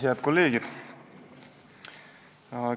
Head kolleegid!